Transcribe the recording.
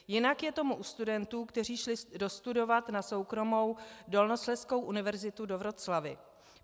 Jinak je tomu u studentů, kteří šli dostudovat na soukromou Dolnoslezskou univerzitu do Wroclawi.